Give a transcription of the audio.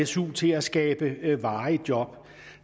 su til at skabe varige job